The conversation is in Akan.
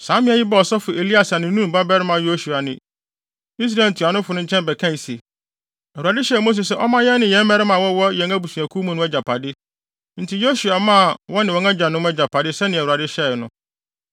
Saa mmea yi baa ɔsɔfo Eleasar ne Nun babarima Yosua ne Israel ntuanofo no nkyɛn bɛkae se, “ Awurade hyɛɛ Mose sɛ ɔmma yɛn ne mmarima a wɔwɔ yɛn abusuakuw mu no agyapade.” Enti Yosua maa wɔn ne wɔn agyanom agyapade sɛnea Awurade hyɛe no.